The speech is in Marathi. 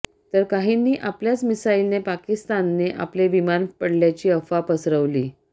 तर काहींनी आपल्याच मिसाईलने पाकिस्तानने आपलेच विमान पडल्याची अफवा पसरवली